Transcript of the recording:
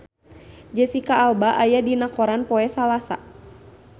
Jesicca Alba aya dina koran poe Salasa